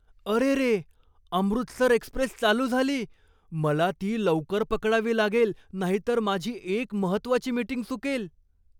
अरेरे! अमृतसर एक्स्प्रेस चालू झाली. मला ती लवकर पकडावी लागेल नाहीतर माझी एक महत्त्वाची मीटिंग चुकेल!